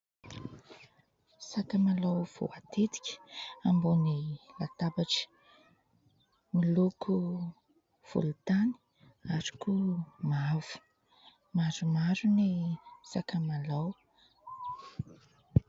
Sakamalao voatetika ambony latabatra, miloko volon-tany ary koa mavo, maromaro ny sakamalao.